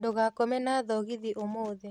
Ndugakoma na thogithi ũmũthĩ